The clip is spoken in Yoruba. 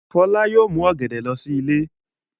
Fọlá yóò mú ọ̀gẹ̀dẹ̀ lọ sí ilé.